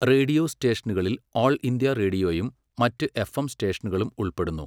Radio സ്റ്റേഷനുകളിൽ all India റേഡിയോയും മറ്റ് എഫ്എം സ്റ്റേഷനുകളും ഉൾപ്പെടുന്നു.